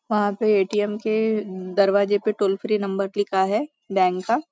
वहाँ पे ए.टी.एम. के दरवाजे पर टोल फ्री नंबर लिखा है बैंक का --